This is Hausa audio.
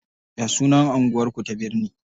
Ya sunan anguwar ku ta birne?